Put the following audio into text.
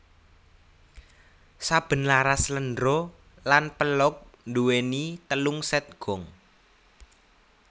Saben laras sléndro lan pelog nduwéni telung sèt gong